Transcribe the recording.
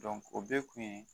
o bɛɛ kun ye